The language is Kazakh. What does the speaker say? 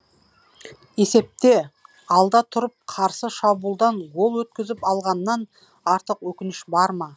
есепте алда тұрып қарсы шабуылдан гол өткізіп алғаннан артық өкініш бар ма